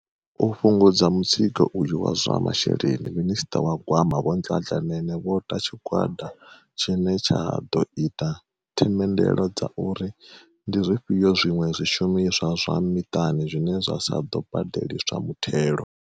U fhungudza mutsiko uyu wa zwa masheleni, minista wa gwama vho Nhlahla Nene vho ta tshi gwada tshine tsha ḓo ita themendelo dza uri ndi zwifhio zwiṅwe zwi shumiswa zwa miṱani zwine zwa sa ḓo badeliswa muthelo.